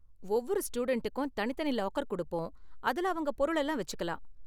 ஒவ்வொரு ஸ்டூடண்டுக்கும் தனித்தனி லாக்கர் கொடுப்போம், அதுல அவங்க பொருள்லாம் வெச்சிக்கலாம்.